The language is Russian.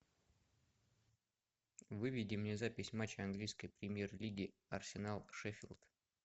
выведи мне запись матча английской премьер лиги арсенал шеффилд